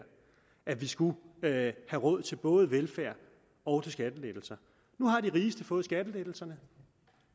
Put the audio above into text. at vi skulle have råd til både velfærd og skattelettelser nu har de rigeste fået skattelettelserne